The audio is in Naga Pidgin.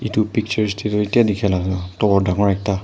etu pictures ti tu etai teka laka tu tower tangur ekta.